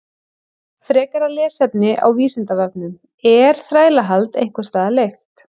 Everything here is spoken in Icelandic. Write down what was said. Frekara lesefni á Vísindavefnum: Er þrælahald einhvers staðar leyft?